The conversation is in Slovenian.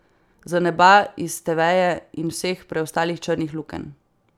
Z neba, iz teveja in vseh preostalih črnih lukenj.